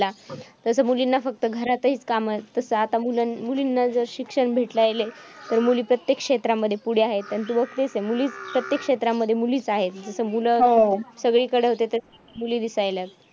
तसं मुलींना फक्त घरातचं कामं. तसं आता मुलं मुलींना जर शिक्षण भेटू राहिलंय तर ते प्रत्येक क्षेत्रामध्ये पुढे आहेत. आणि तू बघतेच आहे. प्रत्येक क्षेत्रामध्ये मुलीचं आहे. जिथं मुलं सगळीकडे होते तसे मुली दिसायलेत.